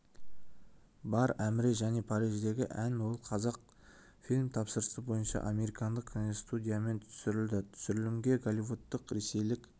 бар әміре және париждегі ән ол қазақфильм тапсырысы бойынша американдық киностудиямен түсірілді түсірілімге голливудтық ресейлік